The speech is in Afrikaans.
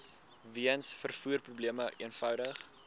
weens vervoerprobleme eenvoudig